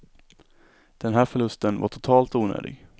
Den här förlusten var totalt onödig.